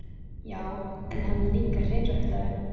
Já, en hann er líka hreinræktaður.